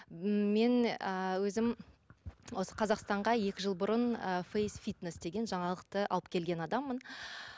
мен ы өзім осы қазақстанға екі жыл бұрын ы фейсфитнес деген жаңалықты алып келген адаммын